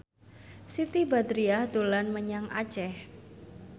Siti Badriah dolan menyang Aceh